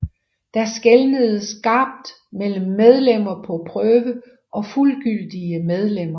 Der skelnedes skarpt mellem medlemmer på prøve og fuldgyldige medlemmer